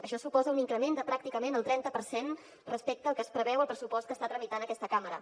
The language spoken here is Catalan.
això suposa un increment de pràcticament el trenta per cent respecte al que es preveu al pressupost que està tramitant aquesta cambra